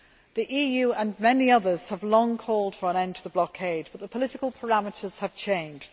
The EU and many others have long called for an end to the blockade. But the political parameters have changed.